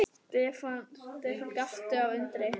Stefán gapti af undrun.